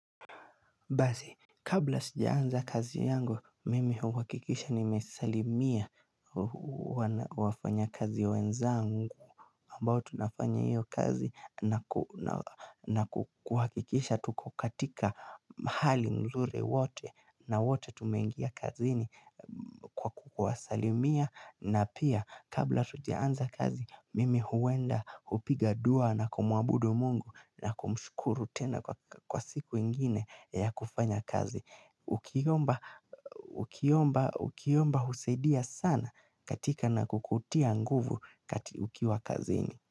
Basi kabla sijaanza kazi yangu, mimi huhakikisha nimesalimia wafanyakazi wenzangu ambao tunafanya hiyo kazi na kuhakikisha tuko katika mahali mzuri wote na wote tumengia kazini kwa kuwasalimia. Na pia kabla hatujaanza kazi mimi huenda kupiga dua na kumwabudu mungu na kumshukuru tena kwa siku ingine ya kufanya kazi. Ukiomba husaidia sana katika na kukutia nguvu kati ukiwa kazini.